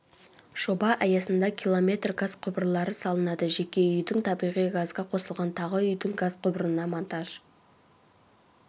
жоба аясында километр газ құбырлары салынады жеке үйдің табиғи газға қосылған тағы үйдің газ құбырына монтаж